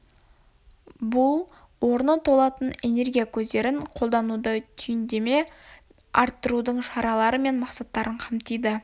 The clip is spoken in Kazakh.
бұл орны толатын энергия көздерін қолдануды түйіндеме арттырудың шаралары мен мақсаттарын қамтиды